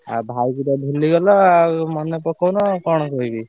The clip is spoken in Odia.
ଆଉ ଭାଇ କି ତ ଭୁଲି ଗଲ ଆଉ ମନେ ପକଊନ ଆଉ କଣ କହିବି?